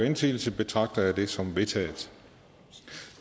indsigelse betragter jeg det som vedtaget